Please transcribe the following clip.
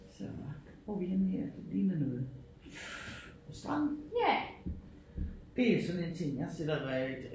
Så hvor vi henne her ligner det noget strand? Det er sådan en ting jeg sætter